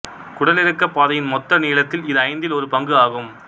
குடலிறக்கப்பாதையின் மொத்த நீளத்தில் இது ஐந்தில் ஒரு பங்கு ஆகும்